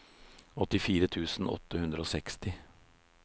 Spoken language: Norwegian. åttifire tusen åtte hundre og seksti